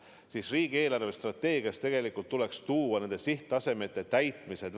Tegelikult võiks riigi eelarvestrateegias olla välja toodud nende sihttasemete täitmised.